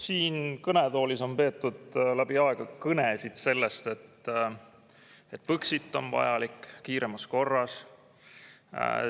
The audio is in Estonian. Siin kõnetoolis on peetud läbi aegade kõnesid sellest, et Põxit on vajalik kiiremas korras.